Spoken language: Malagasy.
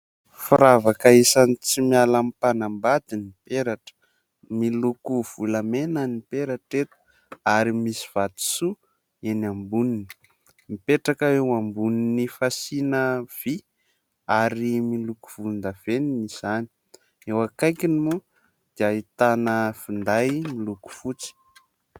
Firavaka isany tsy miala amin'ny mpanambady ny peratra, miloko volamena ny peratra eto ary misy vatosoa eny amboniny. Mipetraka eo ambonin'ny fasiana vy ary miloko volondavenony izany. Eo akaikiny moa dia ahitana finday miloko fotsy.